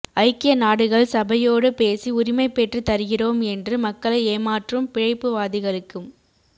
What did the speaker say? ஐக்கிய நாடுகள் சபையோடு பேசி உரிமை பெற்றுத் தருகிறோம் என்று மக்களை ஏமாற்றும் பிழைப்புவாதிகளுக்கும்